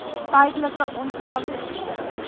tydelike ont vangsgebiede